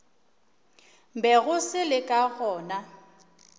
bego se le ka gona